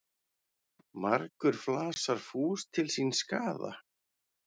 Margur flasar fús til síns skaða.